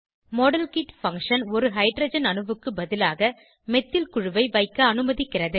model kit function ஒரு hydrogen அணுவுக்கு பதிலாக மெத்தில் குழுவை வைக்க அனுமதிக்கிறது